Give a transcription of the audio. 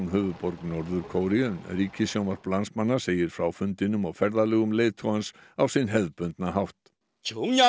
höfuðborg Norður Kóreu en ríkissjónvarp landsmanna segir frá fundinum og ferðalögum leiðtogans á sinn hefðbundna hátt